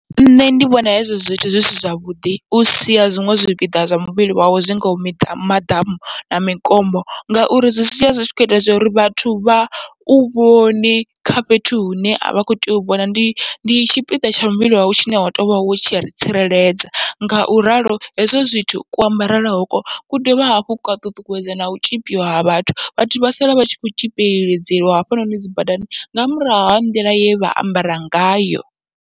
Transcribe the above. Nṋe ndi vhona hezwo zwithu zwi si zwavhuḓi usia zwiṅwe zwipiḓa zwa muvhili wawe zwi ngaho miḓa maḓamu na mikombo, ngauri zwi sia zwi tshi kho ita zwa uri vhathu vha u vhoni kha fhethu hune avha kho tea u vhona, ndi tshipiḓa tsha muvhili wau tshine wa tou vha wo tshi tsireledza. Ngauralo hezwo zwithu kuambarele hoko ku dovha hafhu kwa ṱuṱuwedza nau tzhipiwa ha vhathu, vhathu vha sala vha tshi kho tzhipeledziwa hafhanoni dzi badani nga murahu ha nḓila ye vha ambara ngayo.